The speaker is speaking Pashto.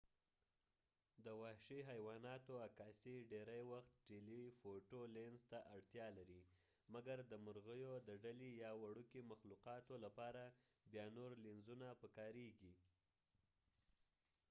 د وحشي حیواناتو عکاسی ډیری وخت ټیلی فوټو لینز ته اړتیا لري مګر د مرغیو د ډلې یا د وړوکې مخلوقاتو لپاره بیا نور لینزونه پکاریږی